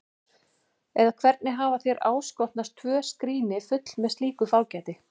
Eða hvernig hafa þér áskotnast tvö skríni full með slíku fágæti?